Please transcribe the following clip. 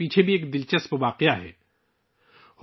دراصل اس کے پیچھے بھی ایک دلچسپ واقعہ ہے